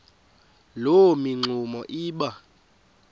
loo mingxuma iba